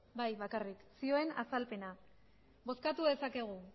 bai bakarrik zioen azalpena bozkatu dezakegu